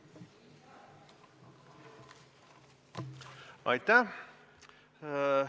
Aitäh!